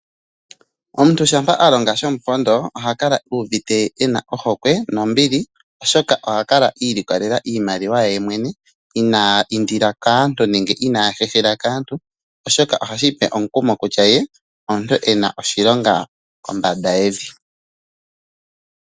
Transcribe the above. Omuntu shampa a longa shomupondo oha kala uuvite ena ohokwe nombili , oshoka oha kala a ilikolela iimaliwa ye ye mwene inaa indila nenge inaa hehela kaantu oshoka ohashi mupe omukumo kutya ye omuntu ena oshilonga kombanda yevi .